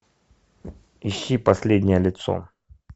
ищи последнее лицо